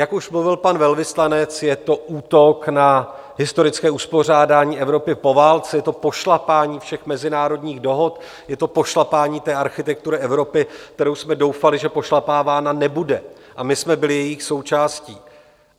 Jak už mluvil pan velvyslanec, je to útok na historické uspořádání Evropy po válce, je to pošlapání všech mezinárodních dohod, je to pošlapání té architektury Evropy, kterou jsme doufali, že pošlapávána nebude, a my jsme byli jejich součástí.